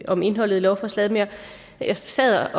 om indholdet i lovforslaget men jeg sad